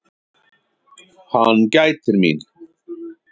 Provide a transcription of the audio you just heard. Hann gætir mín.